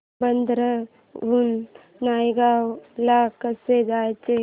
बांद्रा हून नायगाव ला कसं जायचं